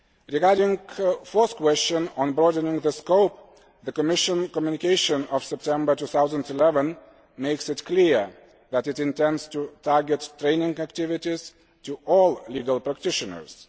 Regarding the fourth question on broadening the scope, the Commission communication of September 2011 makes it clear that it intends to target training activities at all legal practitioners.